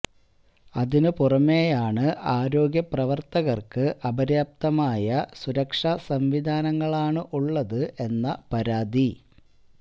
അതിനു പുറമേയാണ് ആരോഗ്യപ്രവർത്തകർക്ക് അപര്യാപ്തമായ സുരക്ഷാ സംവിധാനങ്ങളാണ് ഉള്ളത് എന്ന പരാതി